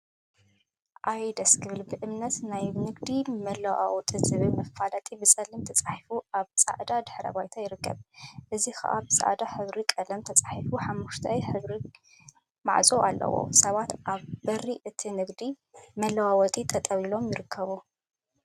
አየ ደስ ክብል! በእምነት ናይ ንግዲ ምልውዋጥ ዝብል መፋለጢ ብፀሊም ተፃሒፉ አብ ፃዕዳ ድሕረ ባይታ ይርከብ፡፡ እዚ ከዓ ብፃዕዳ ሕብሪ ቀለም ተለሚፁ ሓመኩሽታይ ሕብሪ ማዕፆ አለዎ፡፡ ሰባት አብ በሪ እቲ ንግዲ መለዋወጢ ጠጠው ኢሎም ይርከቡ፡፡